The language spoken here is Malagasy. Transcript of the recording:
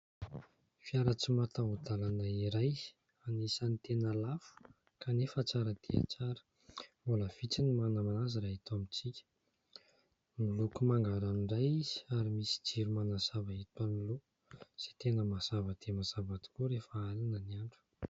Fiara tsy mataho-dalana iray anisan'ny tena lafo kanefa tsara dia tsara, mbola vitsy ny manana azy raha eto amintsika miloko manga ranoray izy ary misy jiro manazava hita eo anoloana izay tena mazava dia mazava tokoa rehefa alina ny andro.